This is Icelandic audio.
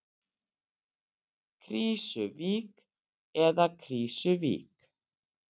Krýsuvík eða Krísuvík?